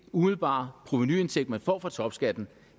umiddelbare provenuindtægt man får fra topskatten